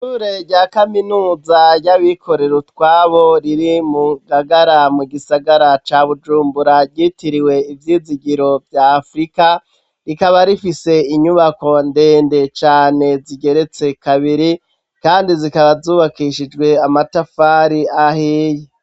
Ishure rya kaminuza ry'abikorera utwabo riri mu Ngagara mu gisagara ca Bujumbura ryitiriwe Ivyizigiro vya Afrika, rikaba rifise inyubako ndende cane zigeretse kabiri, kandi zikaba zubakishijwe amatafari ahiye.